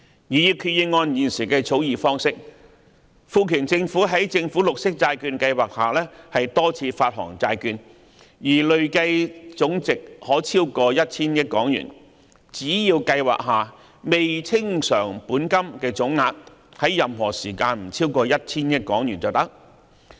擬議決議案現時的草擬方式，賦權政府在政府綠色債券計劃下多次發行債券，而累計總值可超過 1,000 億港元，只要計劃下未清償本金的總額在任何時間不超過 1,000 億元便可。